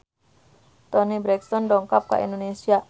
Toni Brexton dongkap ka Indonesia